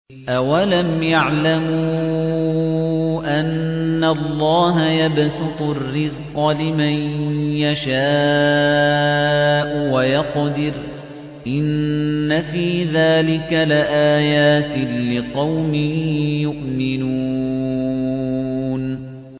أَوَلَمْ يَعْلَمُوا أَنَّ اللَّهَ يَبْسُطُ الرِّزْقَ لِمَن يَشَاءُ وَيَقْدِرُ ۚ إِنَّ فِي ذَٰلِكَ لَآيَاتٍ لِّقَوْمٍ يُؤْمِنُونَ